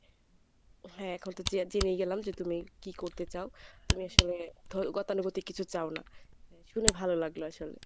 হ্যাঁ এখন তো জেনেই গেলাম যে তুমি কী করতে চাও? তুমি আসলে গতানুগতিক কিছু চাও না, শুনে ভালো লাগলো আসলে।